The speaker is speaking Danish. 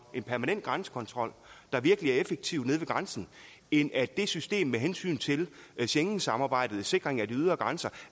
en permanent grænsekontrol der virkelig er effektiv nede ved grænsen end at det system med hensyn til schengensamarbejdet og sikringen af de ydre grænser